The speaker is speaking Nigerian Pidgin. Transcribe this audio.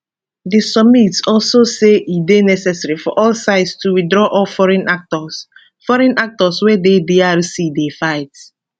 di summit also say e dey necessary for all sides to withdraw all foreign actors foreign actors wey dey drc dey fight